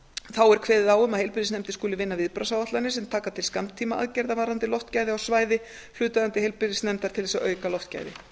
þá er kveðið á um að heilbrigðisnefndir skuli vinna viðbragðsáætlanir sem taka til skammtímaaðgerða varðandi loftgæði á svæði hlutaðeigandi heilbrigðisnefndar til þess að auka loftgæði